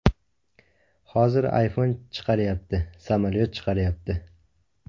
Hozir iPhone chiqaryapti, samolyot chiqaryapti.